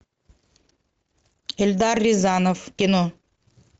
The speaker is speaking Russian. эльдар рязанов кино